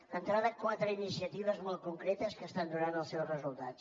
d’entrada quatre iniciatives molt concretes que estan donant els seus resultats